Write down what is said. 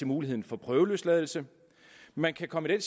muligheden for prøveløsladelse man kan komme i